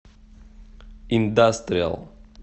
индастриал